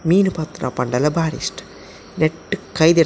ಮೀನ್ ಪತ್ತುನ ಪಂಡಲ ಬಾರಿ ಇಷ್ಟ ನೆಟ್ಟ್ ಕೈ--